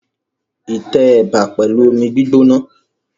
I tẹ ẹ̀bà pẹ̀lú omi gbígbóná.